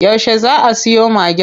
Yauce zaa a siyo Magen?